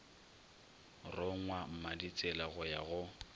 rongwa mmaditsela go ya go